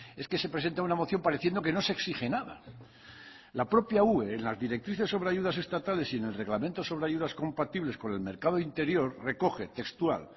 es que se presenta una moción pareciendo que no se exige nada la propia ue en las directrices sobre ayudas estatales y en el reglamento sobre ayudas compatibles con el mercado interior recoge textual